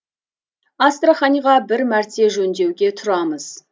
астраханьға бір мәрте жөндеуге тұрамыз